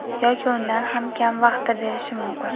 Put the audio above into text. yoki undan ham kam vaqtda berishi mumkin.